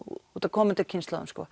komandi kynslóðum